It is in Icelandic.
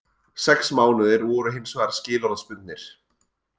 Sex mánuðir voru hins vegar skilorðsbundnir